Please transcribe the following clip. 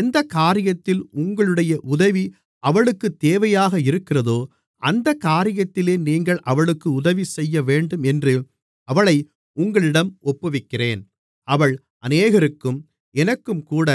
எந்தக் காரியத்தில் உங்களுடைய உதவி அவளுக்குத் தேவையாக இருக்கிறதோ அந்தக் காரியத்திலே நீங்கள் அவளுக்கு உதவிசெய்யவேண்டும் என்று அவளை உங்களிடம் ஒப்புவிக்கிறேன் அவள் அநேகருக்கும் எனக்கும்கூட